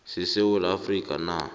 sesewula afrika na